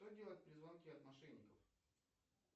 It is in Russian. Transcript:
что делать при звонке от мошенников